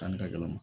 Tani ka gɛlɛn